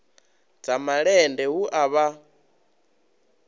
dza malende hu a vha